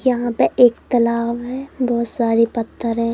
यहां पर एक तालाब है बहोत सारे पत्थर है।